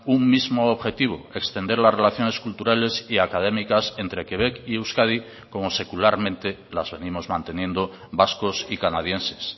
un mismo objetivo extender las relaciones culturales y académicas entre quebec y euskadi como secularmente las venimos manteniendo vascos y canadienses